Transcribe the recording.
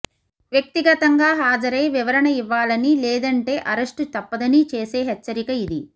వ్యక్తిగతంగా హాజరై వివరణ ఇవ్వాలని లేదంటే అరెస్టు తప్పదని చేసే హెచ్చరిక ఇది